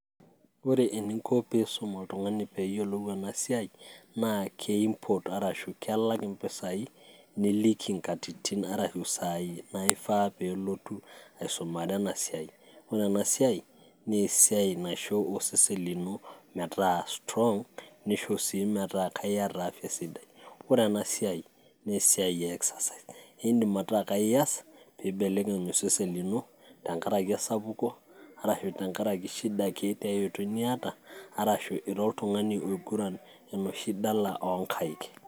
ore eninko tenisum oltung'ani enasiaai naa kelak iropiyiani niliki isai naifaa nelotu asumare ena siaai, ore enasiaai naa kisho osesen lino metaa ki strong nesho sii meetaa iyata afia sidai , ore sii engae naa idim aaku iyas exercise pee ibelekeny osesen lino tengaraki esapuko, ashu tengaraki shida ake niyata ashu tenaa ira oltung'ani oinguran enoshi siaai oonkaik.